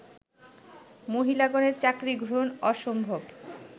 মহিলাগণের চাকরী গ্রহণ অসম্ভব